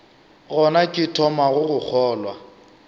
gona ke thomago go kgolwa